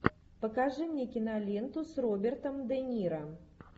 покажи мне киноленту с робертом де ниро